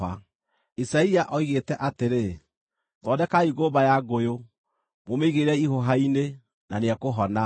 Isaia oigĩte atĩrĩ, “Thondekai ngũmba ya ngũyũ, mũmĩigĩrĩre ihũha-inĩ, na nĩekũhona.”